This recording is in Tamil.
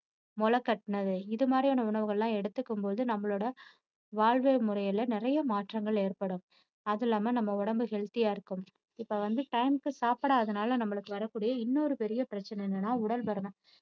முளை கட்டினது இது மாதிரியான உணவுகள் எல்லாம் எடுத்துக்கும் போது நம்மளோட வாழ்வியல் முறையில நிறைய மாற்றங்கள் ஏற்படும். அதும் இல்லாம நம்ம உடம்பு healthy ஆ இருக்கும். இப்போ வந்து time க்கு சாப்பிடாததுனால நம்மளுக்கு வரக்கூடிய இன்னொரு பெரிய பிரச்சினை என்னன்னா உடல் பருமன்